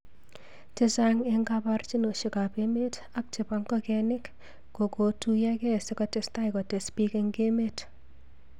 chechang eng kaborjinoshek ab emet ak chebo ngokemik kokotuyokei sikotestai kotes bik eng emet.